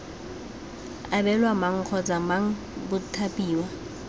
abelwa mang kgotsa mang bathapiwa